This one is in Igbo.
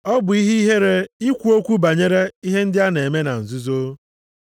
Ọ bụ ihe ihere ikwu okwu banyere ihe ndị a na-eme na nzuzo.